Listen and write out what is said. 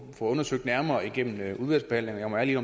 undersøgt nærmere igennem udvalgsbehandlingen jeg må ærligt